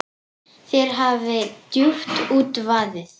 Þér hafi djúpt út vaðið.